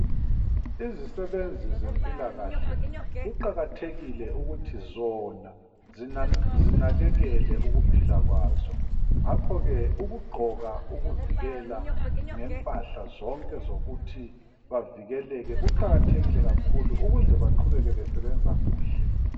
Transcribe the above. Izisebenzi zempilakahle kuqakathekile ukuthi zona zinakekele ukuphila lwazo ngakho ke ukugqoka ukuvikela ngempahla zonke zokuthi bavikeleke kuqakathekile kakhulu ukuze baqhubeke besebenze kuhle